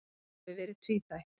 Það hafi verið tvíþætt.